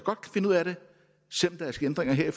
finde ud af det selv om der er sket ændringer her i